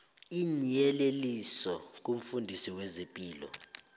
iinyeleliso kumfundisi wezepilo